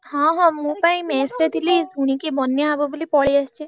ହଁ ହଁ ମୁ ପା ଏଇ mess ରେ ଥିଲି ଶୁଣିକି ବନ୍ୟା ହବ ବୋଲି ପଳେଇଆସିଛି।